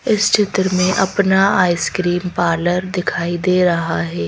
इस चित्र में अपना आइसक्रीम पार्लर दिखाई दे रहा है।